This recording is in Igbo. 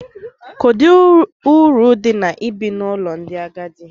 Kedu uru dị na ibi n’ụlọ ndị agadi?